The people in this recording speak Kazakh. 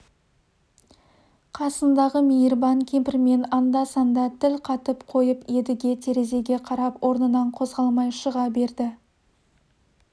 қасындағы мейірбан кемпірмен анда-санда тіл қатып қойып едіге терезеге қарап орнынан қозғалмай шыға берді